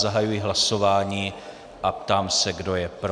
Zahajuji hlasování a ptám se, kdo je pro.